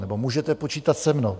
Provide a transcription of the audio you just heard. Nebo můžete počítat se mnou.